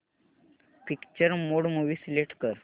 picture mode movie select कर